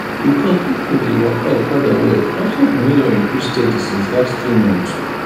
because people dey waka okada well transport money don increase steady since last three months